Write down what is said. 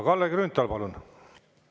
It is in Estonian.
Kalle Grünthal, palun!